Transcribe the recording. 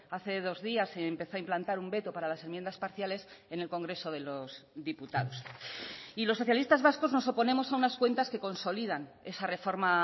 hace dos días se empezó a implantar un veto para las enmiendas parciales en el congreso de los diputados y los socialistas vascos nos oponemos a unas cuentas que consolidan esa reforma